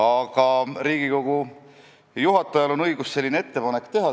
Aga Riigikogu juhatajal on õigus selline ettepanek teha.